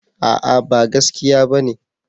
A'a ba gaskiya bane